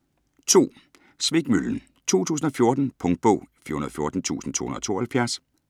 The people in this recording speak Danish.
Svikmøllen: 2014 Punktbog 414272